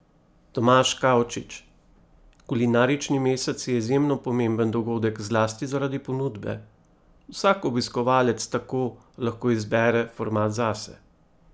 Tomaž Kavčič: "Kulinarični mesec je izjemno pomemben dogodek zlasti zaradi ponudbe, vsak obiskovalec tako lahko izbere format zase.